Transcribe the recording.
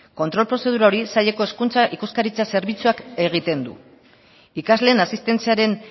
kontrol prozedura hori saileko hezkuntza ikuskaritza zerbitzuak egiten du ikasleen asistentziaren